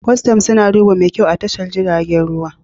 Custom suna duba mai kyau a tashar jiragen ruwa